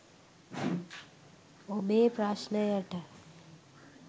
ඔබේ ප්‍රශ්නයට